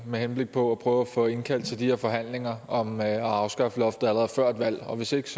med henblik på at prøve at få indkaldt til de her forhandlinger om at afskaffe loftet allerede før et valg og hvis ikke